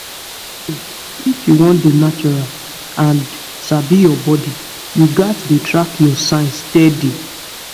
true true if you wan dey natural and sabi your body you gats dey track your signs steady